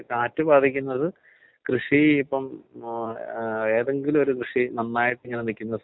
അപ്പോ ലാസ്റ്റ് വരെ ലാസ്റ്റ് വരെ അവർക്ക് ആ അലർജി പ്രശ്നം ഉള്ളത് അങ്ങനെ തന്നെ ഇരിക്കും. അല്ലെ?